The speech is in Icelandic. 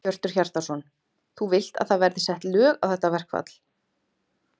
Hjörtur Hjartarson: Þú vilt að það verði sett lög á þetta verkfall?